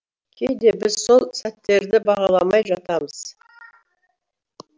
кейде біз сол сәттерді бағаламай жатамыз